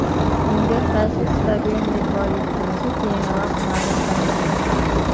Unga qaysi stadion mezbonlik qilishi keyinroq ma’lum qilinadi.